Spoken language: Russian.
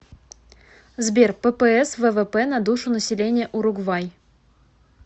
сбер ппс ввп на душу населения уругвай